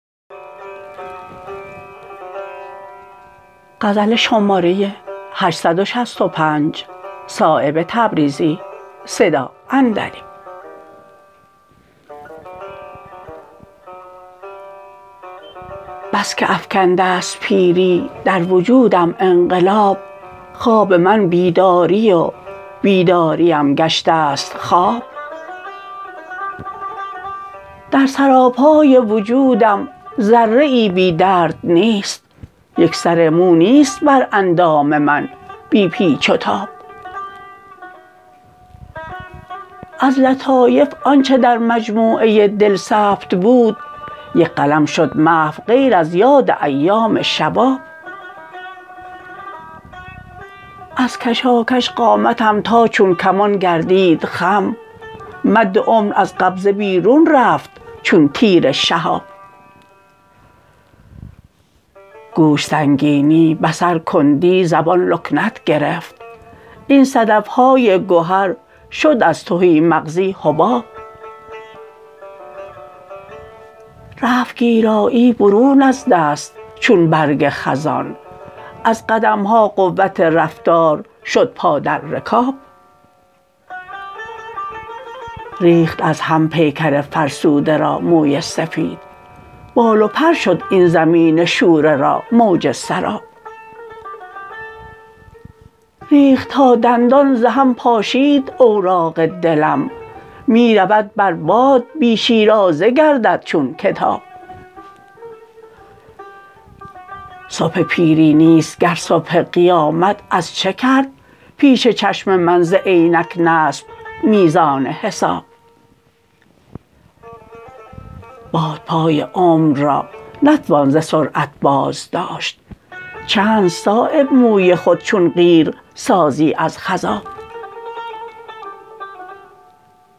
بس که افکنده است پیری در وجودم انقلاب خواب من بیداری و بیداریم گشته است خواب در سراپای وجودم ذره ای بی درد نیست یک سر مو نیست بر اندام من بی پیچ و تاب از لطایف آنچه در مجموعه دل ثبت بود یک قلم شد محو غیر از یاد ایام شباب از کشاکش قامتم تا چون کمان گردید خم مد عمر از قبضه بیرون رفت چون تیر شهاب گوش سنگینی بصر کندی زبان لکنت گرفت این صدف های گهر شد از تهی مغزی حباب رفت گیرایی برون از دست چون برگ خزان از قدم ها قوت رفتار شد پا در رکاب ریخت از هم پیکر فرسوده را موی سفید بال و پر شد این زمین شوره را موج سراب ریخت تا دندان ز هم پاشید اوراق دلم می رود بر باد بی شیرازه گردد چون کتاب صبح پیری نیست گر صبح قیامت از چه کرد پیش چشم من ز عینک نصب میزان حساب بادپای عمر را نتوان ز سرعت بازداشت چند صایب موی خود چون قیر سازی از خضاب